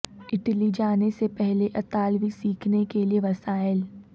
Italy جانے سے پہلے اطالوی سیکھنے کے لئے وسائل